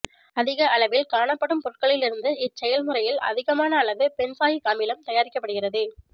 அதிக அளவில் காணப்படும் பொருட்களிலிருந்து இச்செயல்முறையில் அதிகமான அளவு பென்சாயிக் அமிலம் தயாரிக்கப்படுகிறது